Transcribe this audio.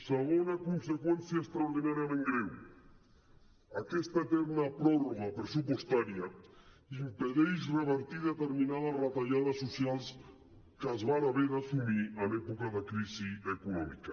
segona conseqüència extraordinàriament greu aquesta eterna pròrroga pressupostària impedeix revertir determinades retallades socials que es van haver d’assumir en època de crisi econòmica